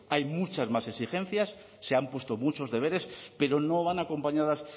hay muchas más exigencias se han puesto muchos deberes pero no van acompañadas